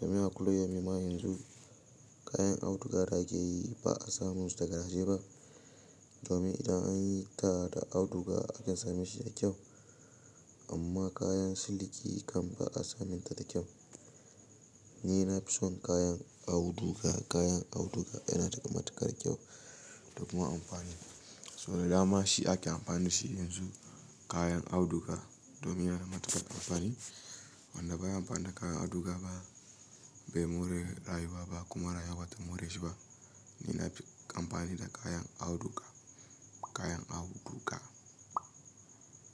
Domin a kullum yau ma yanzu kayan auduga da ake yi ba a samu su daga dashi ba. Domin idan an yi ta da auduga ake same shi da kyau amma kayan siliki kan ba a samin ta da kyau. Ni na fi son kayan auduga, kayan auduga yana da matuƙar kyau da kuma amfani. So da dama shi ake amfani shi yanzu kayan auduga domin yana da matuƙar amfani. Wanda baya amfana da kayan auduga ba bai more rayuwa ba kuma rayuwar bata more shi ba. Ni na fi amfani da kayan auduga, kayan auduga.